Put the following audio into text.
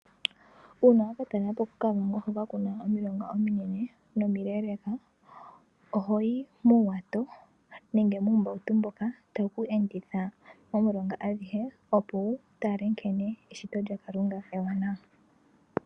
Uuna wakatalela po koKavango hoka kuna omilonga miinene nomileleka ohoyi muuwato nenge muumbauto mboka tawu kwenditha momilonga adhihe opo wutale nkene eshito lyaKalunga ewanawa.